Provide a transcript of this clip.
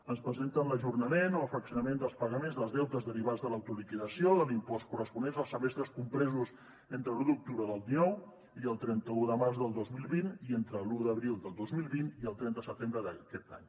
ens presenten l’ajornament o el fraccionament dels pagaments dels deutes derivats de l’autoliquidació de l’impost corresponents als semestres compresos entre l’un d’octubre del dinou i el trenta un de març del dos mil vint i entre l’un d’abril del dos mil vint i el trenta de setembre d’aquest any